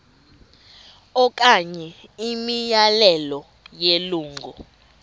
okanye imiyalelo yelungu